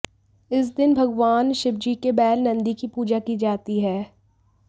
इस दिन भगवान शिवजी के बैल नंदी की पूजा की जाती है